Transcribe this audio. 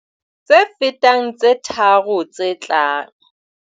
Tse fetang tse tharo tse tlang.